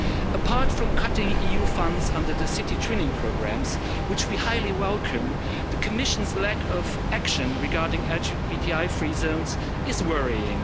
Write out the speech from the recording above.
Apart from cutting EU funds under the city twinning programmes, which we highly welcome, the Commission's lack of action regarding LGBTI free zones is worrying.